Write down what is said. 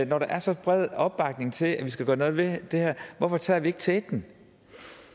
når der er så bred opbakning til at vi skal gøre noget ved det her hvorfor tør vi så ikke tage teten